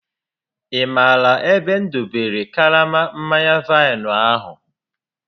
Ị maara ebe m dobere karama mmanya vaịnụ ahụ?